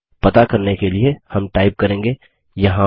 पता करने के लिए हम टाइप करेंगे